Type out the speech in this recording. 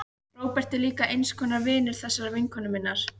Róbert er líka eins konar vinur þessarar vinkonu minnar.